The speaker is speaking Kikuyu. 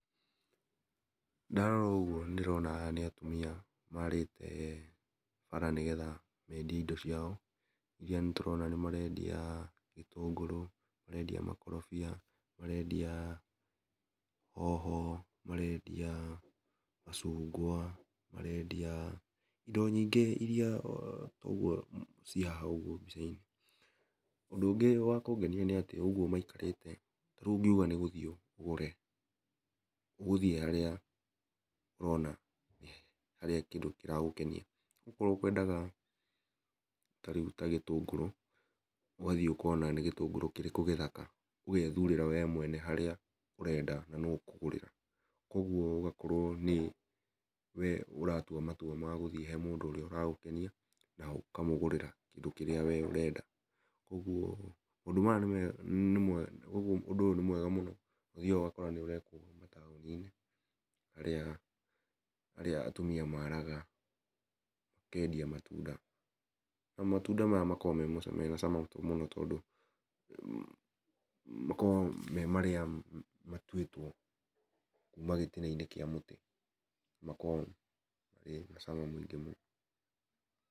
Ndarora ũguo ndĩrona aya nĩ atumia, marĩte, bara nĩgetha, mendie indo ciao, iria nĩtũrona nĩmarendia, gĩtũngũrũ marendia makorobia, marendia, hoho, marendia, macungwa, marendia, indo nyingĩ iria ũguo, ciĩ haha mbica-inĩ, ũndũ ũngĩ wa kũngenia nĩatĩ ũguo maikarĩte, rĩu ũngiuga nĩgũthiĩ ũgũre, ũgũthiĩ harĩa ũrona, harĩa kĩndũ kĩragũkenia, okorwo ũkwendaga, tarĩu ta gĩtũngũrũ, úgathiĩ ũkona nĩ gĩtũngũrũ kĩrĩkũ gĩthaka, ũgethurĩra we mwene harĩa ũrenda na nũ ũkũgũrĩra, koguo ũgakorwo, nĩ, we ũratua matua magũthiĩ he mũndũ ũrĩa ũragũkenia, na ũkamũgũrĩra kĩndũ kĩrĩa we ũrenda, koguo ũndũ aya ũ nĩ mwe, ũndũ ũyũ nĩ mwega mũno, ũthiaga ũgakora nĩũrekwo mataũni-inĩ, harĩa, harĩa atumia maraga, makendia matunda, na matunda maya makoragwo mema mena cama mũno tondũ, makoo me marĩa matwĩtwo kuma gĩtina-inĩ kĩa mũtĩ, marĩ na cama mũingĩ mũno.